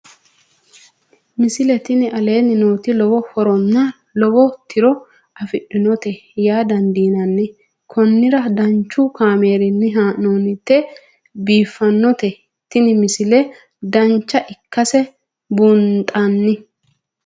misile tini aleenni nooti lowo horonna lowo tiro afidhinote yaa dandiinanni konnira danchu kaameerinni haa'noonnite biiffannote tini misile dancha ikkase buunxanni